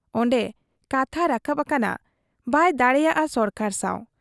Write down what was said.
ᱚᱱᱰᱮ ᱠᱟᱛᱦᱟ ᱨᱟᱠᱟᱵ ᱟᱠᱟᱱᱟ ᱵᱟᱭ ᱫᱟᱜᱲᱮᱭᱟ ᱥᱚᱨᱠᱟᱨ ᱥᱟᱶ ᱾